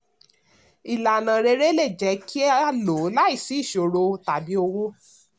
ìlànà rere le jẹ kí a lò ó láìsí ìṣòro tàbí owó.